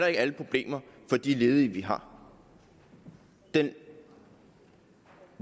ikke alle problemer for de ledige vi har den